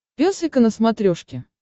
пес и ко на смотрешке